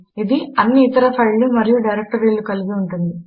ఇది అన్ని ఇతర ఫైళ్ళు మరియు డైరెక్టరీలు కలిగి ఉంటుంది